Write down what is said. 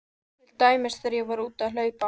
Til dæmis þegar ég var úti að hlaupa.